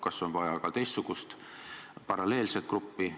Kas on vaja ka teistsugust, paralleelset gruppi?